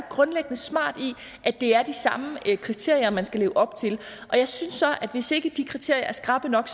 grundlæggende smart i at det er de samme kriterier man skal leve op til og jeg synes så at hvis ikke de kriterier er skrappe nok